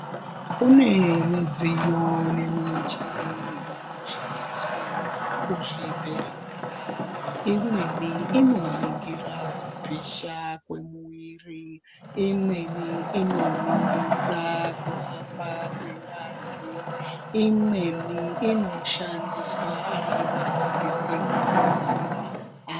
Kune midziyo nemichini inoshandiswe kuzvibhedhlera. Imweni inoningira kupisha kwemwiiri, imweni inoningira kuhamba kwengazi, imweni inoshandiswa ari majikiseni kubaira antu.